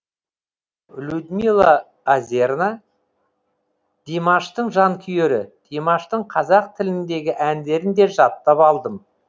людмила озерна димаштың жанкүйері димаштың қазақ тіліндегі әндерін де жаттап алдым